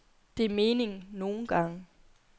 Det er meningen, nogle gange.